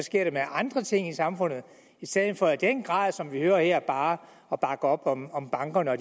andre ting i samfundet i stedet for i den grad som vi hører det her bare at bakke op om om bankerne og